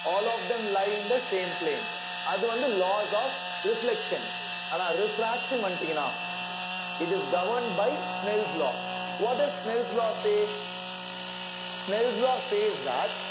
all of them lie in the same plane அது வந்து laws of reflection ஆனா refraction ன்னு வந்துட்டீங்கன்னா it is governed by smells law what is smells law say smells law says that